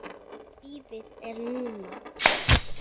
Lífið er núna!